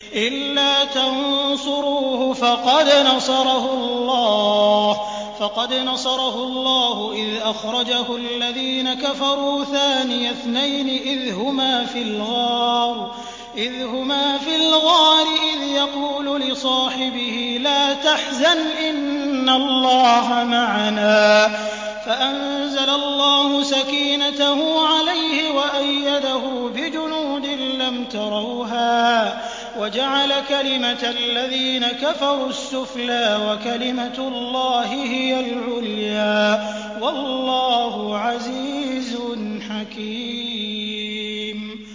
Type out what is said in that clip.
إِلَّا تَنصُرُوهُ فَقَدْ نَصَرَهُ اللَّهُ إِذْ أَخْرَجَهُ الَّذِينَ كَفَرُوا ثَانِيَ اثْنَيْنِ إِذْ هُمَا فِي الْغَارِ إِذْ يَقُولُ لِصَاحِبِهِ لَا تَحْزَنْ إِنَّ اللَّهَ مَعَنَا ۖ فَأَنزَلَ اللَّهُ سَكِينَتَهُ عَلَيْهِ وَأَيَّدَهُ بِجُنُودٍ لَّمْ تَرَوْهَا وَجَعَلَ كَلِمَةَ الَّذِينَ كَفَرُوا السُّفْلَىٰ ۗ وَكَلِمَةُ اللَّهِ هِيَ الْعُلْيَا ۗ وَاللَّهُ عَزِيزٌ حَكِيمٌ